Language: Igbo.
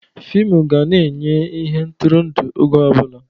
Fịmụ ga na-enye ihe ntụrụndụ oge ọ bụla.